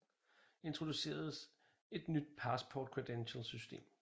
Introducerede et nyt Passport credentials system